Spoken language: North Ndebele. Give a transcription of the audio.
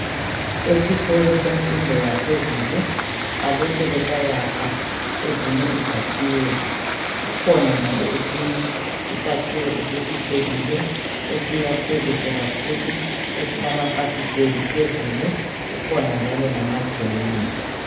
Esikolo semfundo yaphezulu balokhe besayakha ezinye izakhiwo, kukhona njalo esinye isakhiwo esesi phelile esiyakhwe kuhle kakhulu esilama fasitela phezulu kukhona njalo lamazenge.